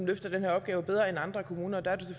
løfter den her opgave bedre end andre kommuner og der er det